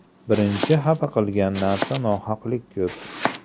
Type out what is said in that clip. Birinchi xafa qilgan narsa nohaqlik ko‘p.